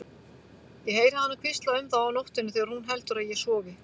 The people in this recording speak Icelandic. Ég heyri hana hvísla um þá á nóttunni þegar hún heldur að ég sofi.